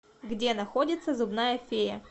где находится зубная фея